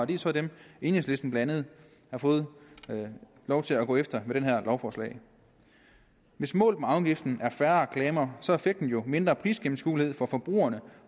det er så dem enhedslisten blandt andet har fået lov til at gå efter med det her lovforslag hvis målet med afgiften er færre reklamer så er effekten jo mindre prisgennemskuelighed for forbrugerne